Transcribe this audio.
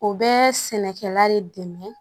O bɛ sɛnɛkɛla de dɛmɛ